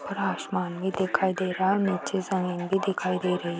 और आसमान भी दिखाई दे रहा नीचे जमीन भी दिखाई दे रही।